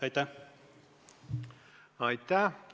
Aitäh!